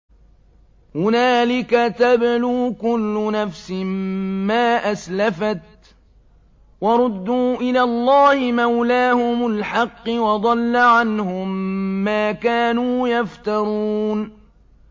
هُنَالِكَ تَبْلُو كُلُّ نَفْسٍ مَّا أَسْلَفَتْ ۚ وَرُدُّوا إِلَى اللَّهِ مَوْلَاهُمُ الْحَقِّ ۖ وَضَلَّ عَنْهُم مَّا كَانُوا يَفْتَرُونَ